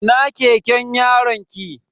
Ina keken yaronki?